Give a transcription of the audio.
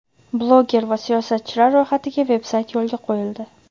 bloger va siyosatchilar ro‘yxatiga veb-sayt yo‘lga qo‘yildi.